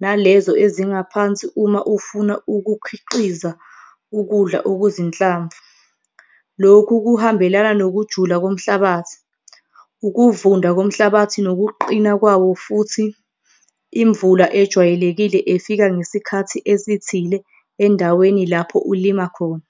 nalezo ezingaphansi uma ufuna ukukhiqiza ukudla okuzinhlamvu. Lokhu kuhambelana nokujula komhlabathi, ukuvunda komhlabathi nokuqina kwawo futhi imvula ejwayelekile efika ngesikhathi esithile endaweni lapho ulima khona.